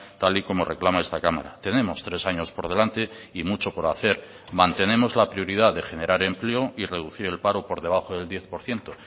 tal y como reclama esta cámara tenemos tres años por delante y mucho por hacer mantenemos la prioridad de generar empleo y reducir el paro por debajo del diez por ciento